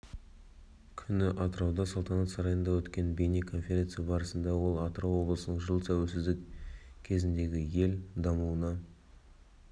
күні атырауда салтанат сарайында өткен бейне конференция барысында ол атырау облысының жыл тәуелсіздік кезіндегіел дамуына